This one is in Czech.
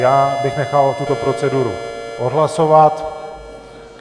Já bych nechal tuto proceduru odhlasovat.